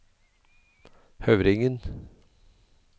Høvringen